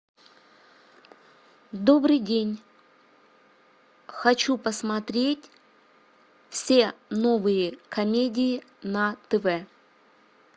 добрый день хочу посмотреть все новые комедии на тв